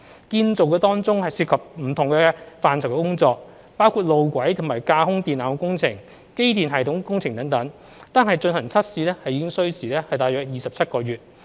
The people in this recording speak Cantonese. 建造當中涉及不同範疇的工序，包括路軌及架空電纜工程、機電系統工程等，單是進行測試已需時約27個月。